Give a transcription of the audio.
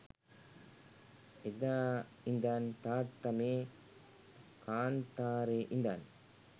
එදා ඉඳන් තාත්තා මේ කාන්තාරේ ඉඳන්